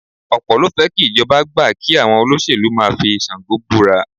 Ọ̀pọ̀ ló fẹ́ kí ìjọba gbà kí àwọn olóṣèlú máa fi Ṣàngó búra